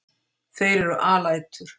Þeir eru alætur.